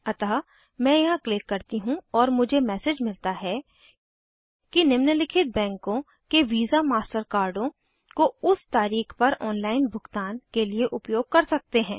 अतः मैं यहाँ क्लिक करती हूँ और मुझे मैसेज मिलता है कि निम्नलिखित बैंकों के वीसामास्टर कार्डों को उस तारीख पर ऑनलाइन भुगतान के लिए उपयोग कर सकते हैं